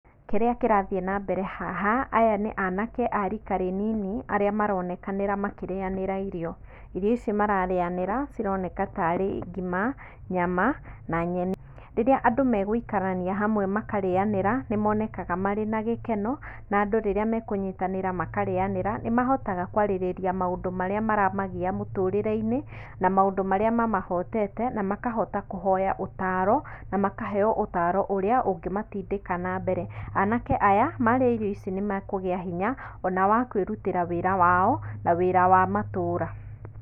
Kĩrĩa kĩrathiĩ na mbere haha, aya nĩ anake a rika rĩnini arĩa maronekana makĩrĩanĩra irio. Irio ici mararĩanĩra cironeka ta arĩ: ngima, nyama na nyeni. Rĩrĩa andũ megũikarania hamwe makarĩanĩra, nĩmonekaga marĩ na gĩkeno na andũ rĩrĩa mekũnyitanĩra makarĩanĩra nĩmahotaga kwarĩrĩria maũndũ marĩa maramagia mũtũrĩre-inĩ na maũndũ marĩa mamahotete na makahota kũhoya ũtaro na makaheo ũtaro ũrĩa ũngĩmatindĩka na mbere. Anake aya marĩa irio ici nĩmekũgĩa na hinya ona wakwĩrutĩra wĩra wao na wĩra wa matũra.